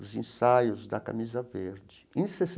Os ensaios da camisa verde em